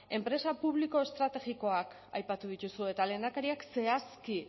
enpresa publiko estrategikoak aipatu dituzue eta lehendakariak zehazki